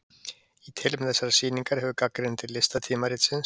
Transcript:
Í tilefni þessarar sýningar hefur gagnrýnandi listatímaritsins